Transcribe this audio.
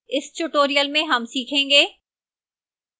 इस tutorial में हम सीखेंगे: